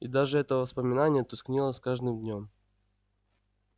и даже это воспоминание тускнело с каждым днём